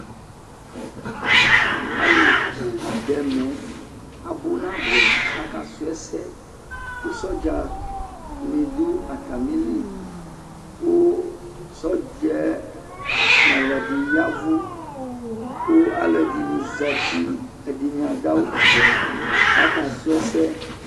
Alu bu do ɛmɛɛ Abu naboɛ Aka su asɛko sɔdza ne do atame li ko sɔɔdzɛ no ɔlɔde yavu ko alɔde ne zati, ɛdene dawuvɛ kaka su ɛsɛ